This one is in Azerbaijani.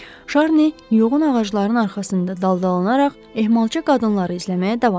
Şarni yoğun ağacların arxasında daldalanaraq ehmalca qadınları izləməyə davam etdi.